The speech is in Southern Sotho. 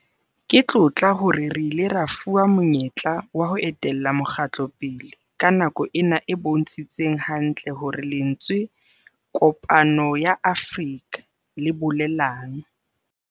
Ke tlotla hore re ile ra fuwa monyetla wa ho etella mokgatlo pele ka nako ena e bontshitseng hantle hore lentswe 'Kopano ya Afrika' le bolelang.